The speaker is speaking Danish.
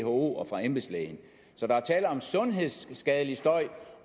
who og fra embedslægen så der er tale om sundhedsskadelig støj